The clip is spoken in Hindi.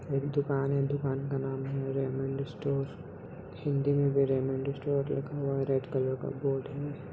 एक दुकान है दुकान का नाम है रेमंड स्टोर | हिन्दी में रेमंड स्टोर लिखा हुआ है रेड कलर का बोर्ड है।